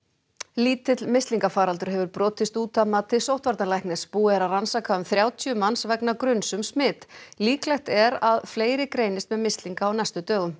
lítill mislingafaraldur hefur brotist út að mati sóttvarnalæknis búið er að rannsaka um þrjátíu manns vegna gruns um smit líklegt er að fleiri greinist með mislinga á næstu dögum